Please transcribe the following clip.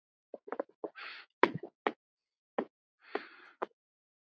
Þóra Kristín: Og hvernig?